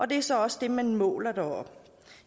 det er så også det man måler deroppe